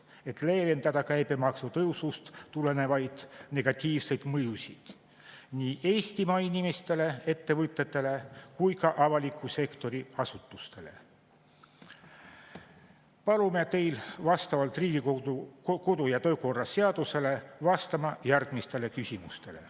Et leevendada käibemaksu tõusust tulenevaid negatiivseid mõjusid nii Eestimaa inimestele, ettevõtetele kui ka avaliku sektori asutustele, palume teil vastavalt Riigikogu kodu- ja töökorra seadusele vastata järgmistele küsimustele.